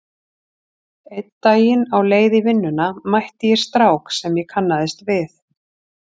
Einn daginn á leið í vinnuna mætti ég strák sem ég kannaðist við.